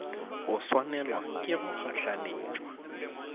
go swanelwa ke go gahlanetšwa